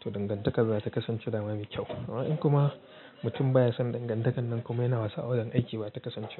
To dangantakar zata kasance da ma mai kyau. Amma in kuma mutum baya son dangantakar nan kuma yana wasa a wurin aiki bata kasance.